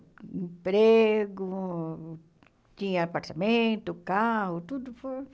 Emprego, tinha apartamento, carro, tudo foi